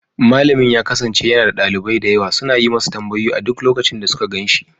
Malamin ya kasance yana da dalibai da yawa suna yi masa tambayoyi a duk lokacin da suka gan shi.